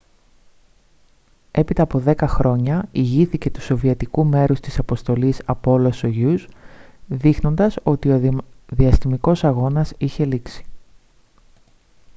έπειτα από δέκα χρόνια ηγήθηκε του σοβιετικού μέρους της αποστολής apollo-soyuz δείχνοντας ότι ο διαστημικός αγώνας είχε λήξει